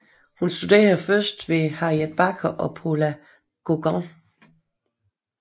Hun studerede først hos Harriet Backer og Pola Gauguin